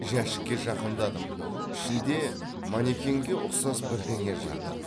жәшікке жақындадым ішінде манекенге ұқсас бірдеңе жатыр